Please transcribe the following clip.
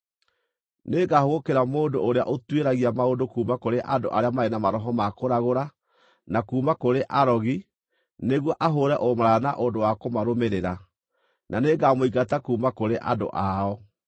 “ ‘Nĩngahũgũkĩra mũndũ ũrĩa ũtuĩragia maũndũ kuuma kũrĩ andũ arĩa marĩ na maroho ma kũragũra na kuuma kũrĩ arogi, nĩguo ahũũre ũmaraya na ũndũ wa kũmarũmĩrĩra, na nĩngamũingata kuuma kũrĩ andũ ao.